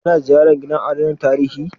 Ka na ziyarar gidajen adana tarihi?